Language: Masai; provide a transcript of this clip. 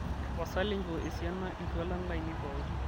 tapasali enchoo esiana iltualan lainei pooki